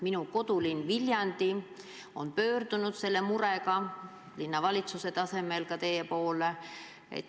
Minu kodulinn Viljandi on pöördunud selle murega linnavalitsuse tasemel ka teie poole.